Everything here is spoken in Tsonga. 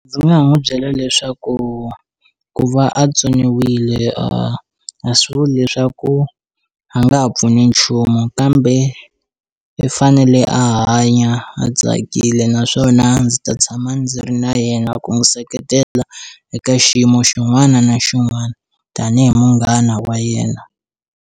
Ndzi nga n'wi byela leswaku ku va a tsoniwile a a swi vuli leswaku a nga ha pfuni nchumu kambe i fanele a hanya a tsakile naswona ndzi ta tshama ndzi ri na yena ku n'wi seketela eka xiyimo xin'wana na xin'wana tanihi munghana wa yena.